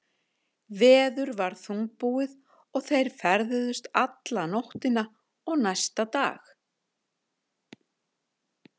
Veður var þungbúið og þeir ferðuðust alla nóttina og næsta dag.